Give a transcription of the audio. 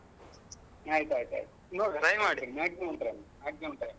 ಆಯ್ತು ಆಯ್ತು ಆಯ್ತು ನೋಡುವ maximum try maximum try ಮಾಡ್ತೇನೆ.